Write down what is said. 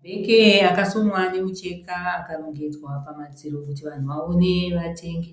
Mabheke akasonwa nemucheka akarongedzwa pamadziro kuti vanhu vaone vatenge.